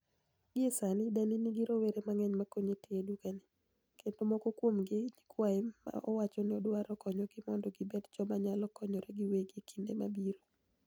Gie sanii, danii niigi rowere manig'eniy ma koniye tiyo e dukani e, kenido moko kuomgi gini niyikwaye ma owacho nii odwaro koniyogi monido gibed joma niyalo koniyore giwegi e kinide mabiro.